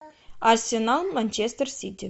арсенал манчестер сити